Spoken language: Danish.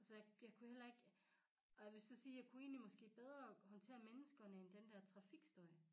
Så jeg kunne heller ikke og jeg vil så sige jeg kunne egentlig måske bedre håndtere menneskerne end den dér trafikstøj